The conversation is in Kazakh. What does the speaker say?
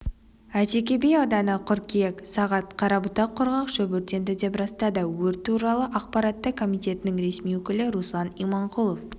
әйтеке би ауданы қыркүйек сағат қарабұтақ құрғақ шөп өртенді деп растады өрт туралы ақпаратты комитетінің ресми өкілі руслан иманқұлов